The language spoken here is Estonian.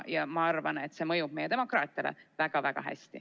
Ja ma arvan, et see mõjub meie demokraatiale väga-väga hästi.